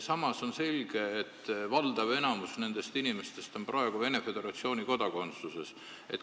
Samas on selge, et valdav enamik nendest inimestest on praegu Venemaa Föderatsiooni kodanikud.